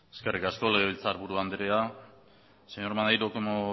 eskerrik asko legebiltzarburu andrea señor maneiro como